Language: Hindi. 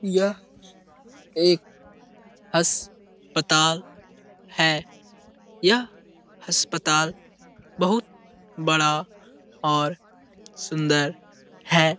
यह एक अस्पताल है। यह अस्पताल बहुत बड़ा और सुन्दर है।